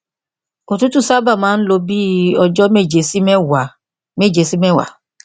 òtútù sábà máa ń lo bí i ọjọ méje sí mẹwàá méje sí mẹwàá